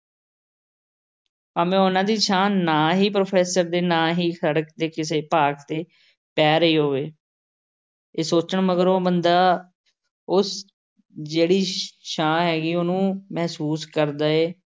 ਭਾਵੇਂ ਉਹਨਾਂ ਦੀ ਛਾਂ ਨਾ ਹੀ professor ਤੇ ਨਾ ਹੀ ਸੜਕ ਦੇ ਕਿਸੇ ਭਾਗ ਤੇ ਪੈ ਰਹੀ ਹੋਵੇ। ਇਹ ਸੋਚਣ ਮਗਰੋਂ ਬੰਦਾ ਉਸ ਜਿਹੜੀ ਛਾਂ ਹੈਗੀ ਉਹਨੂੰ ਮਹਿਸੂਸ ਕਰਦਾ ਹੈ।